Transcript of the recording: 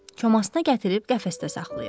Komasına gətirib qəfəsdə saxlayır.